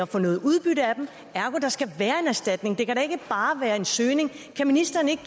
få noget udbytte af dem ergo skal være en erstatning det kan da ikke ansøgning kan ministeren ikke